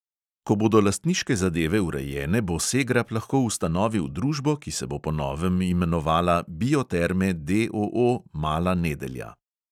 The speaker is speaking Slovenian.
Ko bodo lastniške zadeve urejene, bo segrap lahko ustanovil družbo, ki se bo po novem imenovala bioterme, D O O, mala nedelja.